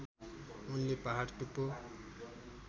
उनले पहाड टुप्पो